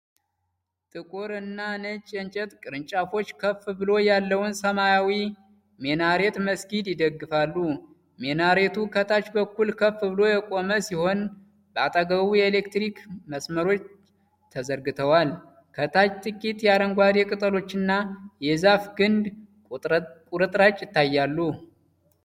ጥቁርና ነጭ የእንጨት ቅርንጫፎች ከፍ ብሎ ያለውን ሰማያዊ ሚናሬት መስጊድ ይደግፋሉ። ሚናሬቱ ከታች በኩል ከፍ ብሎ የቆመ ሲሆን በአጠገቡ የኤሌክትሪክ መስመሮች ተዘርግተዋል። ከታች ጥቂት የአረንጓዴ ቅጠሎችና የዛፍ ግንድ ቁርጥራጭ ይታያል።